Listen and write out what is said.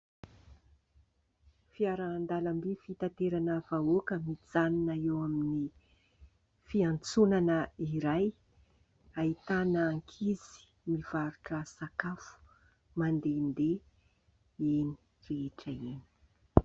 Fiaran-dalamby fitaterana vahoaka mijanona eo amin'ny fiantsonana iray ahitana ankizy mivarotra sakafo mandehandeha enỳ rehetra enỳ.